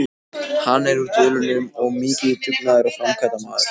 Hann er úr Dölunum og mikill dugnaðar- og framkvæmdamaður.